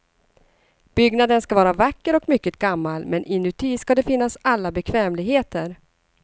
Byggnaden ska vara vacker och mycket gammal, men inuti ska det finnas alla bekvämligheter.